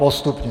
Postupně.